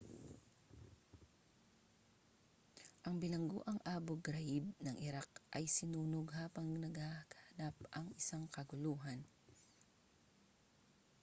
ang bilangguang abu ghraib ng iraq ay sinunog habang nagaganap ang isang kaguluhan